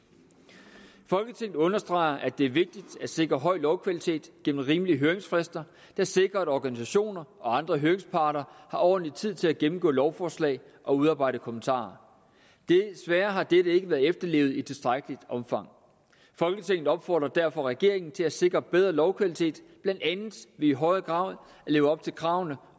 folketinget understreger at det er vigtigt at sikre høj lovkvalitet gennem rimelige høringsfrister der sikrer at organisationer og andre høringsparter har ordentlig tid til at gennemgå lovforslag og udarbejde kommentarer desværre har dette ikke været efterlevet i tilstrækkeligt omfang folketinget opfordrer derfor regeringen til at sikre bedre lovkvalitet blandt andet ved i højere grad at leve op til kravene